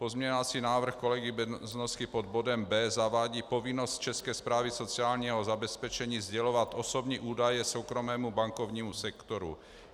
Pozměňovací návrh kolegy Beznosky pod bodem B zavádí povinnost České správy sociálního zabezpečení sdělovat osobní údaje soukromému bankovnímu sektoru.